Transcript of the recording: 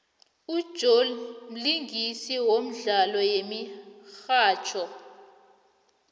ujoe mlingisi wemdlalo yemihatjho